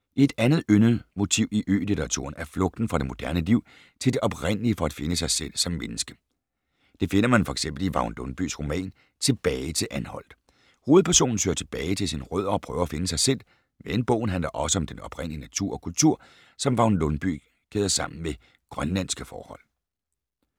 Et andet yndet motiv i ø-litteraturen er flugten fra det moderne liv til det oprindelige for at finde sig selv som menneske. Det finder man f.eks. i Vagn Lundbyes roman Tilbage til Anholt. Hovedpersonen søger tilbage til sine rødder og prøver at finde sig selv, men bogen handler også om den oprindelige natur og kultur, som Vagn Lundbye kæder sammen med grønlandske forhold.